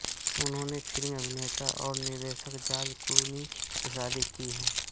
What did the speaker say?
उन्होंने फिल्म अभिनेता और निर्देशक जॉर्ज क्लूनी से शादी की है